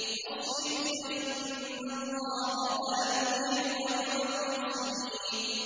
وَاصْبِرْ فَإِنَّ اللَّهَ لَا يُضِيعُ أَجْرَ الْمُحْسِنِينَ